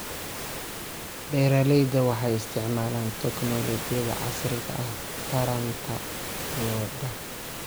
Beeraleydu waxay isticmaalaan tignoolajiyada casriga ah taranta lo'da.